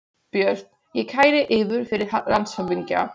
BJÖRN: Ég kæri yður fyrir landshöfðingja.